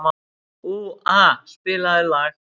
Úa, spilaðu lag.